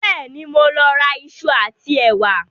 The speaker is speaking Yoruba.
Bẹ́ẹ̀ni, mo ń lọ ra ìṣù àti ẹ̀wà